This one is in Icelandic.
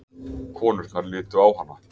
Konurnar litu á hana.